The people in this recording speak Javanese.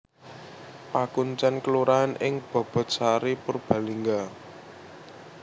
Pakuncèn kelurahan ing Bobotsari Purbalingga